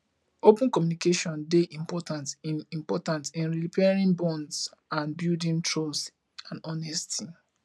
open communication dey important in important in repairing bonds and buildng trust and honesty